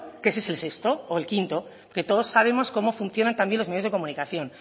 que es el sexto o el quinto que todos sabemos cómo funcionan también los medios de comunicación